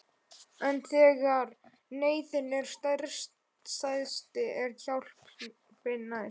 En þegar neyðin er stærst er hjálpin næst.